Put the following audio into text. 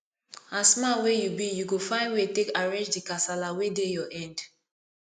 as man wey you be you go find way take arrange di kasala wey dey your end